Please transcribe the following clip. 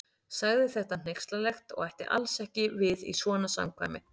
Sagði þetta hneykslanlegt og ætti alls ekki við í svona samkvæmi.